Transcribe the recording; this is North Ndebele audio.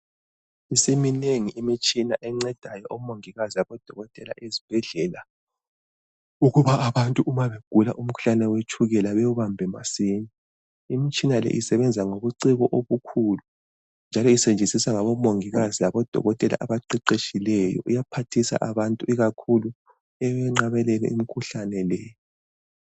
Isiminengi imitshina encedayo omongikazi labodokotela ezibhedlela ukuba abantu uba begula umkhuhlane wetshukela bewubambe masinya. Imitshina leyi isebenza ngobuciko obukhulu njalo isetshenziswa ngabomongikazi labodokotela abaqeqetshileyo, iyaphathisa abantu ikakhulu ekunqabeleni imikhuhlane le.